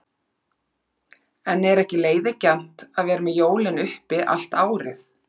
En er ekki leiðigjarnt að vera með jólin uppi allt árið?